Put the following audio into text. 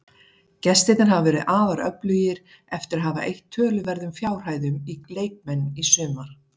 Gestirnir hafa verið afar öflugir eftir að hafa eytt töluverðum fjárhæðum í leikmenn í sumar.